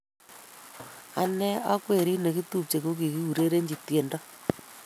Ane ak werit nekitupche ko kikiurerenchi tiendo